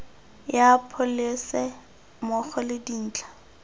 ya pholese mmogo le dintlha